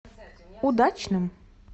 удачным